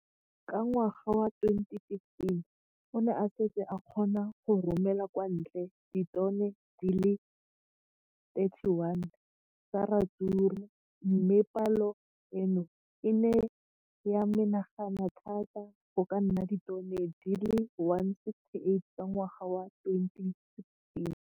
Ka ngwaga wa 2015, o ne a setse a kgona go romela kwa ntle ditone di le 31 tsa ratsuru mme palo eno e ne ya menagana thata go ka nna ditone di le 168 ka ngwaga wa 2016.